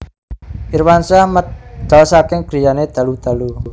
Irwansyah medal saking griyane dalu dalu